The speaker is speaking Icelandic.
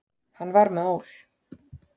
Hann var með ól.